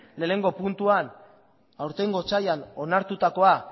batgarrena puntua aurtengo otsailean onartutakoan